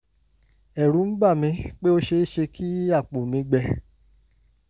ẹ̀rù ń bà mí pé ó ṣe é ṣe kí àpò mi gbẹ